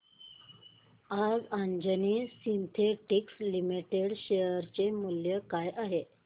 आज Anjani synthetics limited चे share मूल्य काय आहे